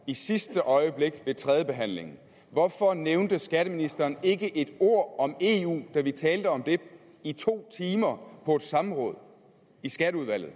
i sidste øjeblik ved tredjebehandlingen og hvorfor nævnte skatteministeren ikke et ord om eu da vi talte om det i to timer på et samråd i skatteudvalget